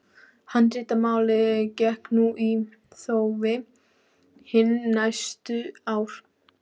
Handritamálið gekk nú í þófi hin næstu ár.